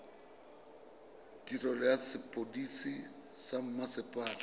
tirelo ya sepodisi sa mmasepala